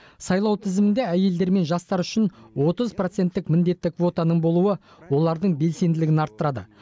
сайлау тізімінде әйелдер мен жастар үшін отыз проценттік міндетті квотаның болуы олардың белсенділігін арттырады